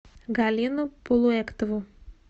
галину полуэктову